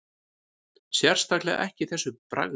Sérstaklega ekki þessu bragði